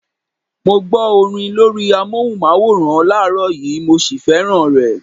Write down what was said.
Mo gbó orin lórí amóhùnmáwòrán láàrọ́ yìí, mo sì fẹ́ràn rẹ.